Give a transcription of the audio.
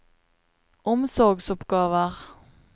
omsorgsoppgaver